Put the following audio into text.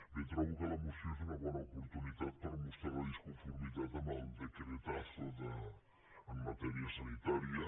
bé trobo que la moció és una bona oportunitat per mostrar la disconformitat amb el decretazoen matèria sanitària